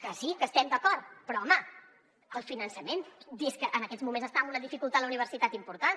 que sí que hi estem d’acord però home el finançament des que en aquests moments està en una dificultat la universitat important